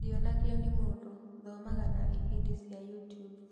Ndionagio nĩ mũndũ thomaga na ibindi cia YouTube